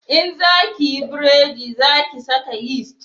In za ki yi buredi za ki saka yisti